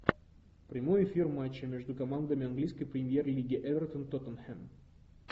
прямой эфир матча между командами английской премьер лиги эвертон тоттенхэм